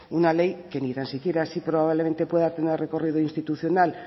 una ley que ni tan siquiera así probablemente pueda tener recorrido institucional